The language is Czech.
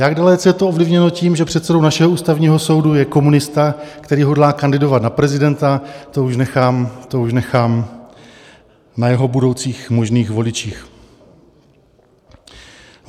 Jak dalece je to ovlivněno tím, že předsedou našeho Ústavního soudu je komunista, který hodlá kandidovat na prezidenta, to už nechám na jeho budoucích možných voličích.